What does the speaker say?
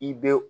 I bɛ